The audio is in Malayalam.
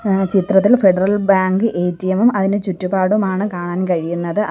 ആഹ് ചിത്രത്തിൽ ഫെഡറൽ ബാങ്ക് എ_ടി_എം ഉം അതിൻറെ ചുറ്റുപാടുമാണ് കാണാൻ കഴിയുന്നത് ആ --